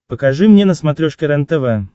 покажи мне на смотрешке рентв